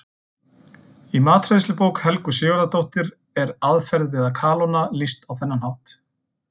Í matreiðslubók Helgu Sigurðardóttur er aðferð við að kalóna lýst á þennan hátt: